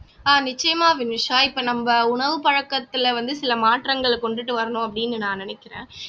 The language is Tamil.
நிச்சயமா வினுஷா இப்ப நம்ம உணவு பழக்கத்துல வந்து சில மாற்றங்களை கொண்டுட்டு வரணும் அப்படீன்னு நான் நினைக்கிறேன்